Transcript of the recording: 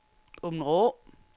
Åbenrå